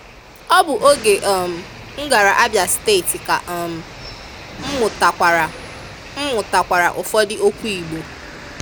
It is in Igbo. Ọ bụ oge um m gara Abịa steeti ka um m mụtatụkwara m mụtatụkwara ụfọdụ okwu IGBO.